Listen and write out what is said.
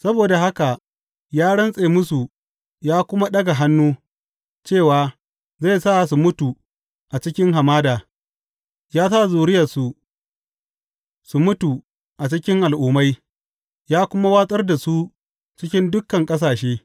Saboda haka ya rantse musu ya kuma ɗaga hannu cewa zai sa su mutu a cikin hamada, ya sa zuriyarsu su mutu a cikin al’ummai ya kuma watsar da su cikin dukan ƙasashe.